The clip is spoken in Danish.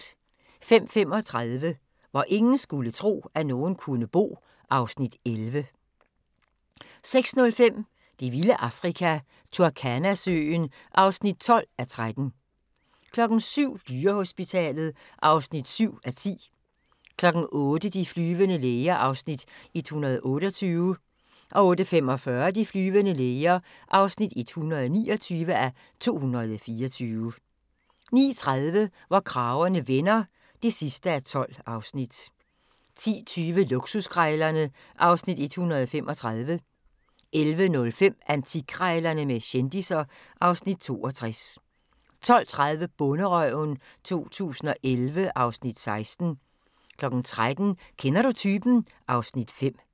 05:35: Hvor ingen skulle tro, at nogen kunne bo (Afs. 11) 06:05: Det vilde Afrika – Turkana-søen (12:13) 07:00: Dyrehospitalet (7:10) 08:00: De flyvende læger (128:224) 08:45: De flyvende læger (129:224) 09:30: Hvor kragerne vender (12:12) 10:20: Luksuskrejlerne (Afs. 135) 11:05: Antikkrejlerne med kendisser (Afs. 62) 12:30: Bonderøven 2011 (Afs. 16) 13:00: Kender du typen? (Afs. 5)